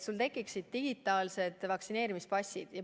Tekivad digitaalsed vaktsineerimispassid.